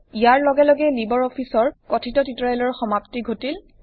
ইয়াৰ লগে লগে লিবাৰ অফিচৰ কথিত টিউটৰিয়েলৰ সমাপ্তি ঘটিল